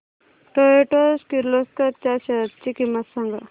Toyota Kirloskar च्या shares ची किंमत सांग